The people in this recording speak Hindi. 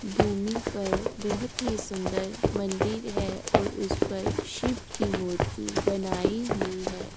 भूमि पर बोहोत ही सुंदर मंदिर है और उस पर शिव की मूर्ति बनाई हुई है।